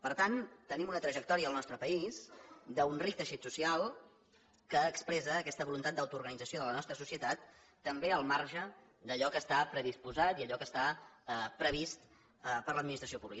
per tant tenim una trajectòria al nostre país d’un ric teixit social que expressa aquesta voluntat d’autoorganització de la nostra societat també al marge d’allò que està predisposat i allò que està previst per l’administració pública